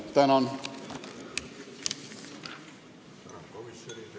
Tänan!